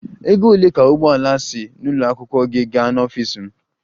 Ego ole ka ụgbọ ala si n'ụlọ akwụkwọ gị gaa n'ọfịs m?